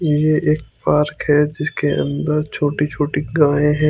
ये एक पार्क है जिसके अंदर छोटी छोटी गाय है।